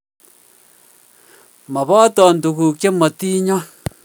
Moboton tukuk che motinyon